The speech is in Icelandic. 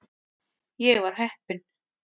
Ég var heppinn.